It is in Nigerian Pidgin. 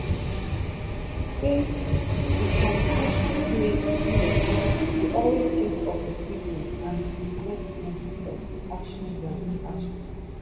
e say di compassionate leaders dey always think of di pipo and di consequences of dia actions and inactions